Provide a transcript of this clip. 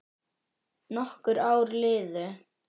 Nokkur ár liðu.